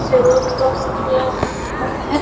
Road cross किया हुआ है।